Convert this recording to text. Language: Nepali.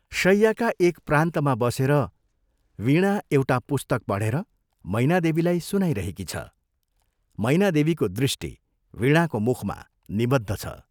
शय्याका एक प्रान्तमा बसेर वीणा एउटा पुस्तक पढेर मैनादेवीलाई सुनाइरहेकी छ मैना देवीको दृष्टि वीणाको मुखमा निवद्ध छ।